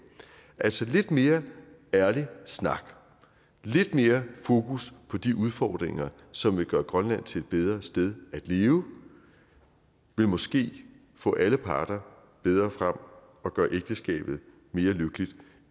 altså lidt mere ærlig snak lidt mere fokus på de udfordringer som vil gøre grønland til et bedre sted at leve vil måske få alle parter bedre frem og gøre ægteskabet mere lykkeligt